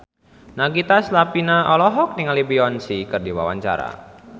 Nagita Slavina olohok ningali Beyonce keur diwawancara